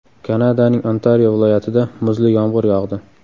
Kanadaning Ontario viloyatida muzli yomg‘ir yog‘di.